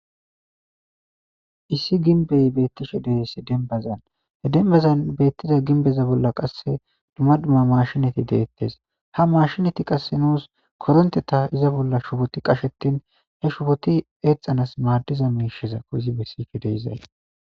Issi ginbey beettishe dees denbazan he denbazan beettiza ginbeza bolla qasse duma duma mashinati deettes ha mashinati qasse nuus koronte ta iza bolla shuboti qashetin he shuboti eexanas maadiza meisheza koyizi bessife de7izay.